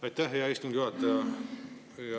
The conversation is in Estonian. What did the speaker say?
Aitäh, hea istungi juhataja!